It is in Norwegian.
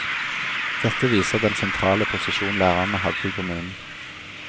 Dette viser den sentrale posisjon lærerne hadde i kommunen.